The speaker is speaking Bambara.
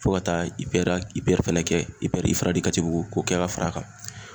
Fo ka taa IPR ya IPR fɛnɛ kɛ IPR IFRA Katibugu k'o kɛ ka far'a kan.